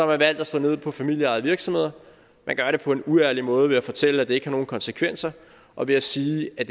man valgt at slå ned på familieejede virksomheder man gør det på en uærlig måde ved at fortælle at det ikke har nogen konsekvenser og ved at sige at